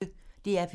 DR P1